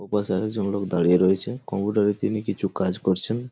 ওপাশে আরেকজন লোক দাঁড়িয়ে রয়েছে কম্পিউটার -এ তিনি কিছু কাজ করছেন।